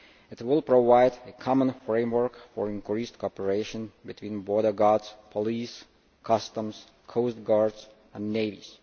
It will provide a common framework for increased cooperation between border guards, police, customs, coastguards and navies.